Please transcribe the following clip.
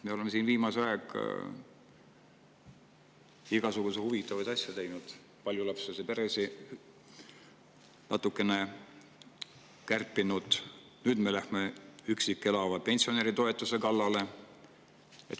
Me oleme siin viimasel ajal igasuguseid huvitavaid asju teinud, paljulapselistelt peredelt natukene kärpinud, nüüd me lähme üksi elava pensionäri toetuse kallale.